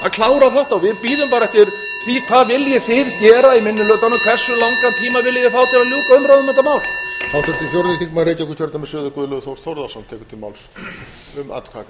klára þetta við bíðum bara eftir því hvað þið viljið gera í minni hlutanum hversu langan tíma viljið þið fá til að ljúka umræðum um þetta mál